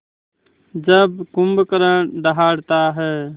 जब कुंभकर्ण दहाड़ता है